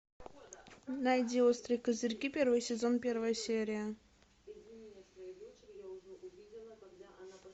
найди острые козырьки первый сезон первая серия